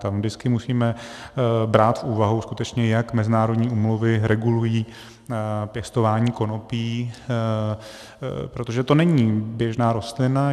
Tam vždycky musíme brát v úvahu skutečně, jak mezinárodní úmluvy regulují pěstování konopí, protože to není běžná rostlina.